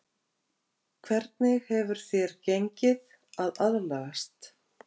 Hvernig hefur þér gengið að aðlagast?